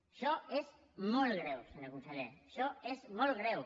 això és molt greu senyor conseller això és molt greu